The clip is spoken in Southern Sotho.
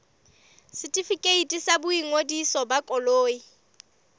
setefikeiti sa boingodiso ba koloi